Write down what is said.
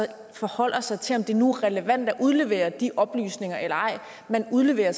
forholder sig til om det nu er relevant at udlevere de oplysninger eller ej man udleverer